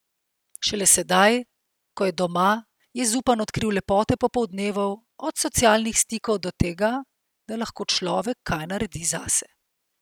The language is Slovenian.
Šele sedaj, ko je doma, je Zupan odkril lepote popoldnevov, od socialnih stikov do tega, da lahko človek kaj naredi zase.